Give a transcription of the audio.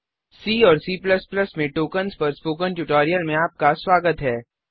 सी और C Plus Plus में tokens पर स्पोकन ट्यूटोरियल में आपका स्वागत है